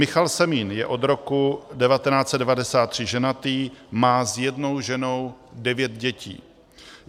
Michal Semín je od roku 1993 ženatý, má s jednou ženou devět dětí.